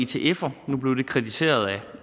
til etfer nu blev det kritiseret af